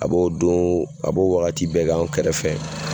A b'o don a b'o wagati bɛɛ k'an kɛrɛfɛ.